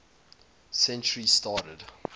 century started